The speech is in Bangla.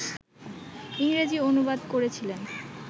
ইংরেজি অনুবাদ করেছিলেন